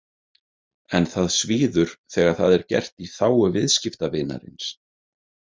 En það svíður þegar það er gert í „þágu viðskiptavinarins“.